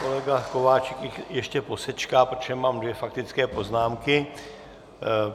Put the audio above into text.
Kolega Kováčik ještě posečká, protože mám dvě faktické poznámky.